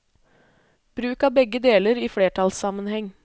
Bruk av begge deler i flertallssammenheng.